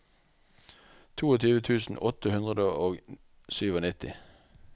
tjueto tusen åtte hundre og nittisju